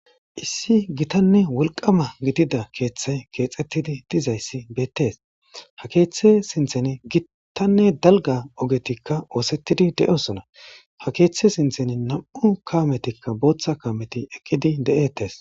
Issi gitanne wolqama gidida keeththay keexxettidi dizayssi beettees ha keeththe sinthen gittanne dalga ogetikka oosettidi de'osona ha keeththe sinthen nam'u kaametikka booththa kaameti eqqidi de'ettes